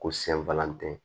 Ko sɛnfalantɛ